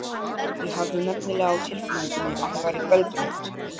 Ég hafði nefnilega á tilfinningunni að hún væri göldrótt.